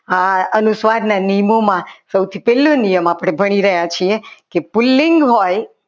હા અનુસ્વારના નિયમોમાં સૌથી પહેલો નિયમ આપણે ભણી રહ્યા છીએ કે પુલ્લિંગ હોય